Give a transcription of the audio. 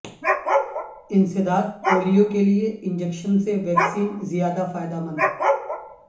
انسداد پولیو کے لیے انجیکشن سے ویکسین زیاد ہ فائدہ مند